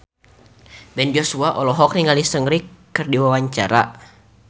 Ben Joshua olohok ningali Seungri keur diwawancara